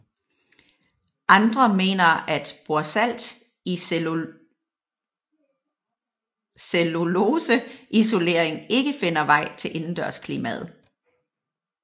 Andre mener at borsalt i celluloseisolering ikke finder vej til indendørsklimaet